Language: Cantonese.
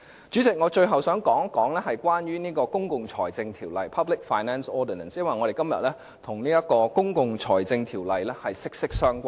主席，我最後想談一談《公共財政條例》，因為我們今天討論的議題，跟《公共財政條例》息息相關。